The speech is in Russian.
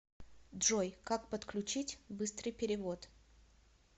джой как подключить быстрый перевод